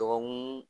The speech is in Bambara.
Dɔgɔkun